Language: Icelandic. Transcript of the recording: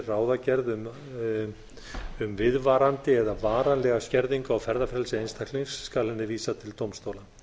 ráðagerð um viðvarandi eða varanlega skerðingu á ferðafrelsi einstaklings skal henni vísað til dómstóla